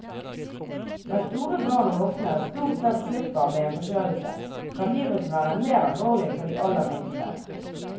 Mens store barn og voksne stort sett slipper med en forkjølelse, kan viruset være mer alvorlig for de aller minste.